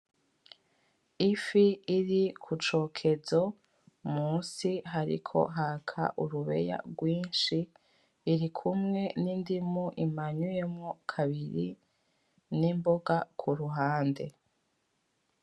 Ifi iri kucokezo munsi hariko haka urubeya rwinshi birikumwe n' indimu imanyuyemo kabiri n' imboga kuruhande.